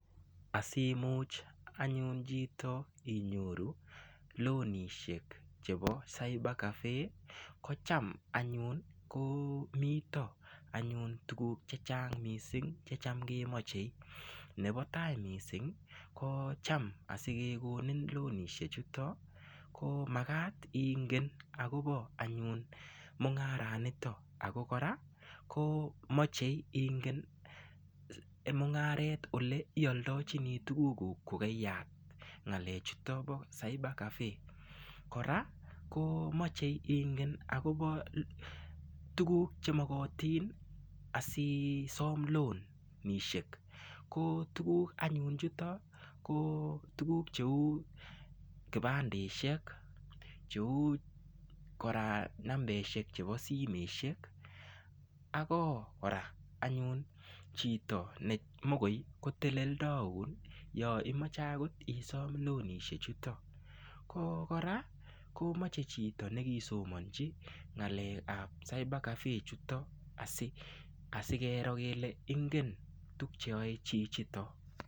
Asimuch anyun chito inyoru lonisiek chebo cybercafe kotam komi tuguk chechang missing chetam kemoche nebo tai komagat ingen akobo mung'aranitok ako moche ingen mung'aret ole ioldochini tugukuk kokaiyat ng'alek chuton bo cybercafe kora moche ingen akobo tukuk chemokotin asisom loan ko tukuk anyun chutok ko tukuk cheu kibandesiek ,nambesiek chebo simesiek ak chito nemakoteleldoun ,ko kora mcohe nekisomonji ng'alek ab cybercafe chutok asikero kele ingen tuk cheyoe chichiton.